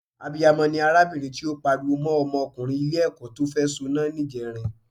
Abiyamọ ni arábìnrin tí ó pariwo mọ́ ọmọkùnrin Ilé-ẹ̀kọ́ tó fẹ́ soná níjẹrin